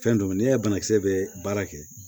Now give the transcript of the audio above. Fɛn don ni y'a banakisɛ bɛ baara kɛ